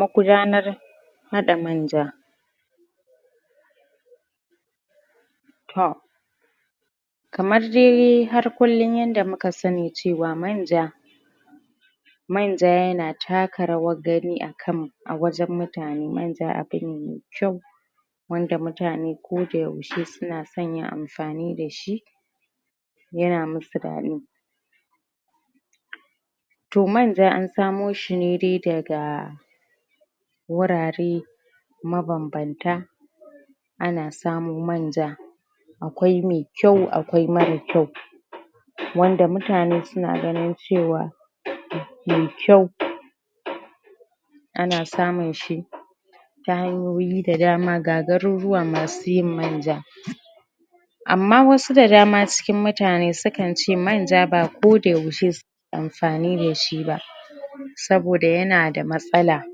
magudanar haɗa manja to kamar dai har kullum yanda muka sani cewa manja manja yana taka rawar gani a kan a wajen mutane manja abu ne mai kyau wanda mutane ko da yaushe suna son yin amfani da shi yana musu daɗi to manja an samo shi ne dai daga wurare mabanbanta ana samo manja akwai mai kyau akwai marar kyau wanda mutane su na ganin cewa mai kyau ana samun shi ta hanyoyi da dama ga garuruwa masu yin manja amma wasu da dama cikin mutane sukan ce manja ba koda yaushe su amfani da shi ba saboda yanada matsala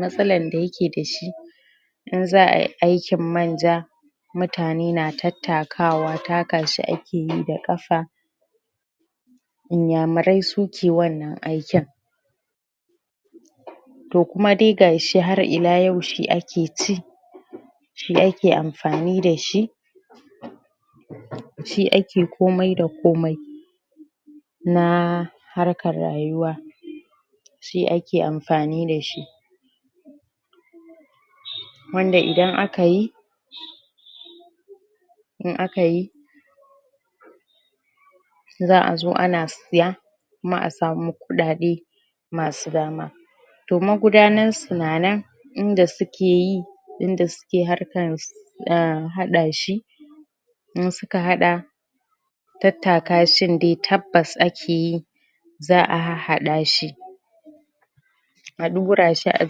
matsalan da yake da shi in za'ayi aikin manja mutane na tattakawa taka shi ake yi da ƙafa inyamurai su ke wannan aikin to kuma dai gashi har ila yau shi ake ci shi ake amfani da shi shi ake komai da komai na harkar rayuwa shi ake amfani da shi wanda idan aka yi in aka yi za'a zo ana siya kuma a samu kuɗaɗe ma su dama to magudanar su na nan in da suke yi inda suke harkar ss ahh haɗa shi in suka haɗa tattakashin dai tabbas ake yi za'a hahhaɗa shi a ɗura shi a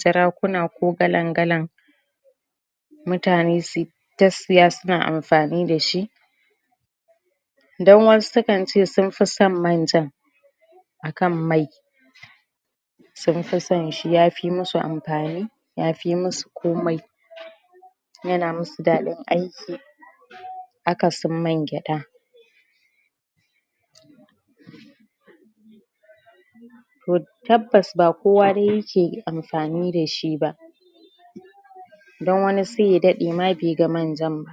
jarakuna ko galan galan mutane su ta siya su na amfani da shi dan wasu su kan ce sun fi son manjan akan mai sun fi son shi ya fi mu su amfani ya fi mu su komai ya na musu daɗin aiki akasin man gyaɗa to tabbas ba kowa dai yake amfani da shi ba dan wani sai ya daɗe ma bai ga manjan ba